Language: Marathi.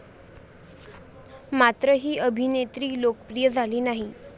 मात्र ही अभिनेत्री लोकप्रिय झाली नाही.